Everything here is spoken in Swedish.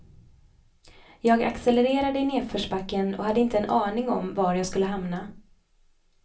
Jag accelererade i nedförsbacken och hade inte en aning om var jag skulle hamna.